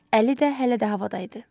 Əli də hələ də havada idi.